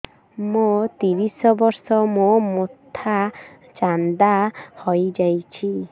ମୋ ତିରିଶ ବର୍ଷ ମୋ ମୋଥା ଚାନ୍ଦା ହଇଯାଇଛି